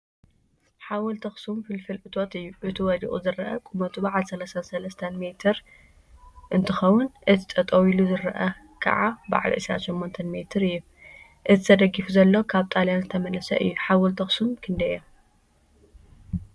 ሓወልቲ አክሱም ፍልፍል እቶት እዩ፡፡ እቲ ወዲቁ ዝርአ ቁመቱ በዓል 33 ሜ እንትኸውን፤ እቲ ጠጠው ኢሉ ዝርአ ከዓ በዓል 28 ሜ እዩ፡፡ እቲ ተደጊፉ ዘሎ ካብ ጣልያን ዝተመለሰ እዩ፡፡ ሓወልቲ አክሱም ክንደይ እዮም?